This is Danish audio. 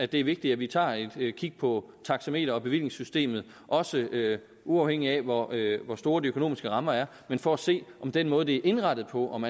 det er vigtigt at vi tager et kig på taxameter og bevillingssystemet også uafhængigt af hvor hvor store de økonomiske rammer er men for at se om den måde det er indrettet på om